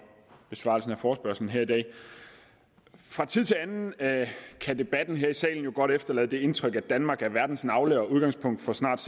besvarelse af forespørgslen her i dag fra tid til anden kan debatten her i salen jo godt efterlade det indtryk at danmark er verdens navle og udgangspunkt for snart